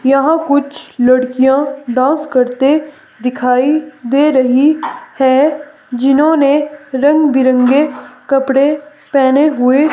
यहां कुछ लड़कियां डांस करते दिखाई दे रही है जिन्होंने रंगबिरंगे कपड़े पहने हुए--